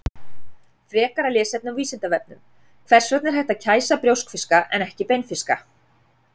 Frekara lesefni á Vísindavefnum: Hvers vegna er hægt að kæsa brjóskfiska en ekki beinfiska?